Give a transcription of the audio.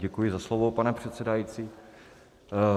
Děkuji za slovo, pane předsedající.